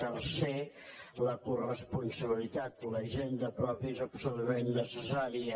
tercer la coresponsabilitat la hisenda pròpia és absolutament necessària